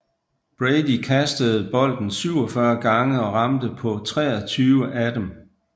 Brady kastede bolden 47 gange og ramte på 23 af dem